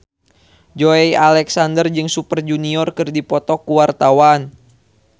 Joey Alexander jeung Super Junior keur dipoto ku wartawan